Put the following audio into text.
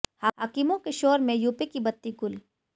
हाकिमों के शोर में यूपी की बत्ती गुल